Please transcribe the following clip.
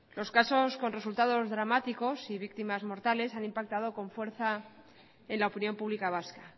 los casos con resultados dramáticos y víctimas mortales han impactado con fuerza en la opinión pública vasca